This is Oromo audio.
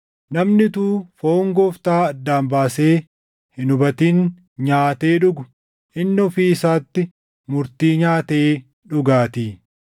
Namni utuu foon Gooftaa addaan baasee hin hubatin nyaatee dhugu, inni ofii isaatti murtii nyaatee dhugaatii.